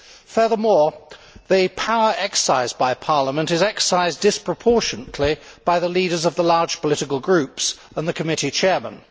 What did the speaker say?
Furthermore, the power exercised by Parliament is exercised disproportionately by the leaders of the large political groups and the committee chairmen.